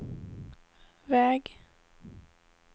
väg